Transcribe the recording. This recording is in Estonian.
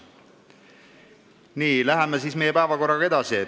Nii, läheme meie päevakorraga edasi.